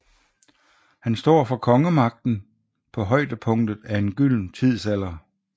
Han står for kongemagten på højdepunktet af en gylden tidsalder